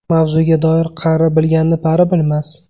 Mavzuga doir Qari bilganni pari bilmas.